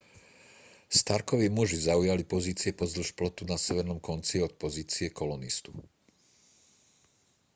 starkovi muži zaujali pozície pozdĺž plotu na severnom konci od pozície kolonistu